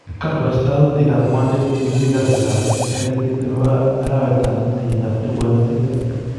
Kaporastautik ap ngwondet tv kasitap muut 20/5/2020